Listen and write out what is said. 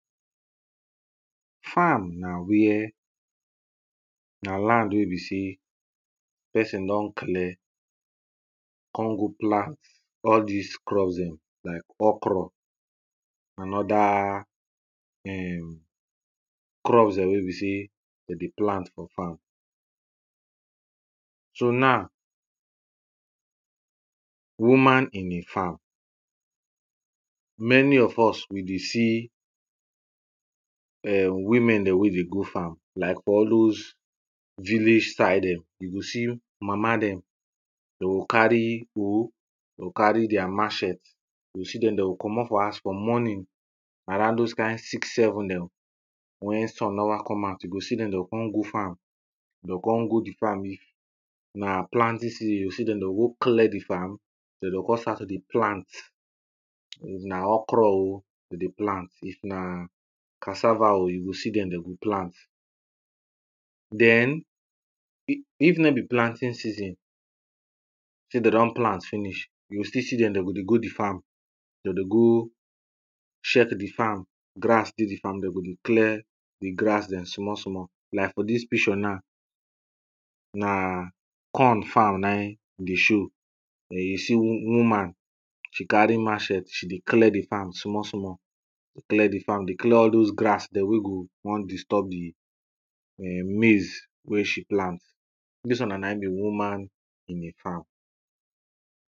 Farm na where, na land wey be sey person don clear, come go plant all dis crop dem like okro and other erm crop dem wen be say dey plant for farm. So na woman in a farm, many of us we dey see[um]women dem wey dey go farm like for all dose village side [um],you go see mama dem, dey go carry hoe, dey go carry deir matchet, you go see dem dey go comot for house for morning around dose kind six, seven dem, wen sun never come out ,you go see dem dey go come go farm, dey o come go di farm. If na planting season you go see dem, dey o go clear di farm den dey o come start to dey plant. If na okro o dem dey plant, if na cassava o you go see dem dey o plant den, if no be planting season say dey don plant finish you go still see dem, dey go dey go di farm, dem dey go check di farm, grass dey di farm dem go dey clear di grass dem small small. Like for dis picture now, na corn farm na e dey show, you go see woman she carry matchet, she dey clear di farm small small, dey clear di farm, dey clear all dose grass dem wen go won disturb di maize wey she plant. Dis one na e be woman in a farm.